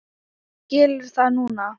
Skilur það núna.